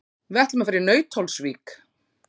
Við ætlum að fara í Nauthólsvík.